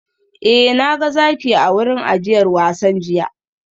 Eh na ga zaki a wurin ajiyar wasan jiya